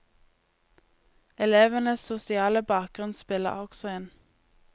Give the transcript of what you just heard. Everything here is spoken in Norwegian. Elevenes sosiale bakgrunn spiller også inn.